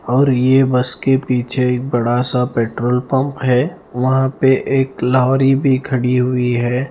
और ये बस के पीछे एक बड़ा-सा पेट्रोल पम्प है वहाँ पे एक लौहरी भी खड़ी हुई है।